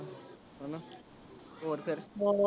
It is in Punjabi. ਹਣਾ ਹੋਰ ਫੇਰ ਹੋਰ